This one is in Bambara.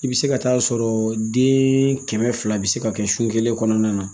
I bɛ se ka taa sɔrɔ den kɛmɛ fila bɛ se ka kɛ su kelen kɔnɔna na